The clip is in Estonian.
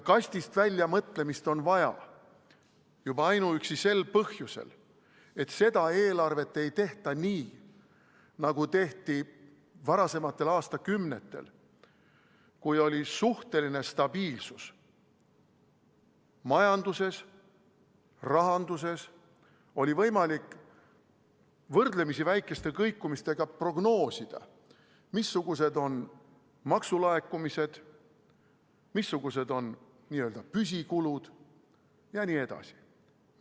Kastist väljapoole mõtlemist on vaja juba ainuüksi sel põhjusel, et seda eelarvet ei tehta nii, nagu tehti varasematel aastakümnetel, kui oli suhteline stabiilsus, majanduses ja rahanduses oli võimalik võrdlemisi väikeste kõikumistega prognoosida, missugused on maksulaekumised, missugused on n-ö püsikulud jne.